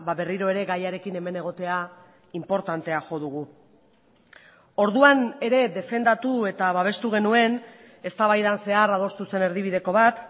berriro ere gaiarekin hemen egotea inportantea jo dugu orduan ere defendatu eta babestu genuen eztabaidan zehar adostu zen erdibideko bat